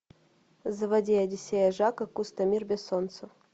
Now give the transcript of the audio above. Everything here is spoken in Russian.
заводи одиссея жака кусто мир без солнца